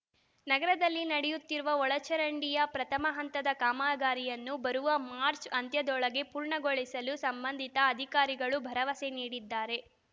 ನಗರದಲ್ಲಿ ನಡೆಯುತ್ತಿರುವ ಒಳಚರಂಡಿಯ ಪ್ರಥಮ ಹಂತದ ಕಾಮಗಾರಿಯನ್ನು ಬರುವ ಮಾರ್ಚ್ ಅಂತ್ಯದೊಳಗೆ ಪೂರ್ಣಗೊಳಿಸಲು ಸಂಬಂಧಿತ ಅಧಿಕಾರಿಗಳು ಭರವಸೆ ನೀಡಿದ್ದಾರೆ